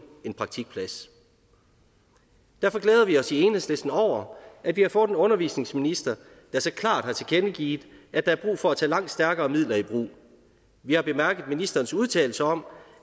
en praktikplads derfor glæder vi os i enhedslisten over at vi har fået en undervisningsminister der så klart har tilkendegivet at der er brug for at tage langt stærkere midler i brug vi har bemærket ministerens udtalelse om